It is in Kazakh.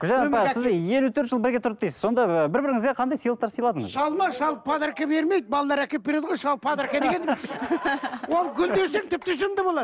сіз елу төрт жыл бірге тұрдық дейсіз сонда бір біріңізге қандай сыйлықтар сыйладыңыз шал ма шал подарка бермейді балалар әкеліп береді ғой шал подарка дегенді ол гүл десең тіпті жынды болады